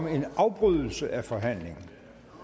en afbrydelse af forhandlingen